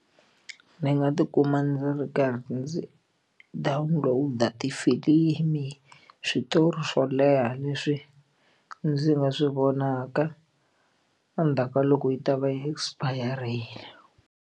Ndzi nga tikuma ndzi ri karhi ndzi download-a tifilimi switori swo leha leswi ndzi nga swi vonaka endzhaku ka loko yi ta va yi expire-rile.